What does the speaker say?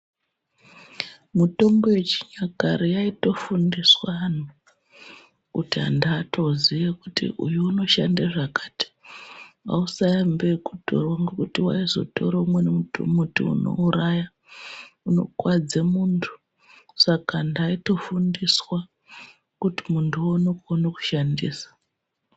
Mutombo yechinyakare aitofundiswaa anhu kut antu atoziyaa kuti uyu unoshanda zvakati, hausaambe ekotora ngekuti waizotora umweni muti unouraya, unokuwadze muntu, saka antu aitofundiswaa kuti muntu uone kukone kuushandisaa.